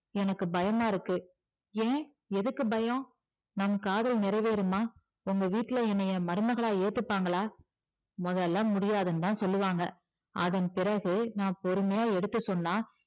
எனக்கு பயமா இருக்கு ஏன் எதுக்கு பயம் நம் காதல் நிறைவேறுமா உங்க வீட்ல என்னைய மருமகளா ஏத்துப்பாங்களா முதல்ல முடியாதுன்னு தான் சொல்லுவாங்க அதன்பிறகு நான் பொறுமையா எடுத்து சொன்னா